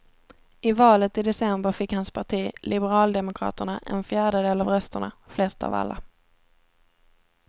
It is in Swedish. I valet i december fick hans parti, liberaldemokraterna, en fjärdedel av rösterna, flest av alla.